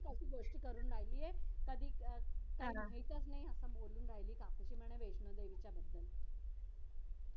कशी दोस्ती करून राहिली आहे कधी एकच नाही बोलून राहिले काकूशी म्हणा वैष्णवी देवीचा